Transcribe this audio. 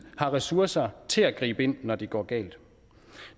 har ressourcer til at gribe ind når det går galt